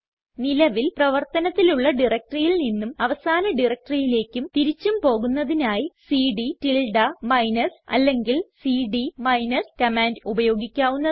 നിലവിൽ പ്രവർത്തനത്തിലുള്ള directoryയിൽ നിന്നും അവസാന directoryയിലേക്കും തിരിച്ചും പോകുന്നതിനായി സിഡി മൈനസ് അല്ലെങ്കിൽ സിഡി മൈനസ് കമാൻഡ് ഉപയോഗിക്കാവുന്നതാണ്